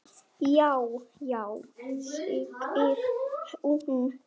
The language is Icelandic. Já, já segir hún.